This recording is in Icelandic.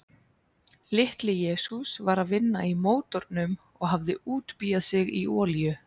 Litli-Jesús var að vinna í mótornum og hafði útbíað sig í olíu.